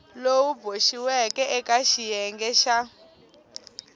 lowu boxiweke eka xiyenge xa